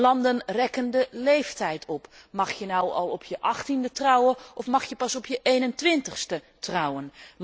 Landen rekken de leeftijd op mag je nu al op je 18e trouwen of mag je pas op je 21ste trouwen?